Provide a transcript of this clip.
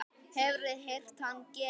Hefurðu heyrt hans getið?